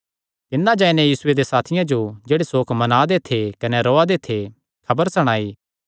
तिन्नै जाई नैं यीशुये दे साथियां जो जेह्ड़े सोक मनादे थे कने रोया दे थे खबर सणाई